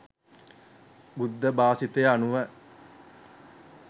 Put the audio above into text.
බුද්ධ භාෂිතය අනුව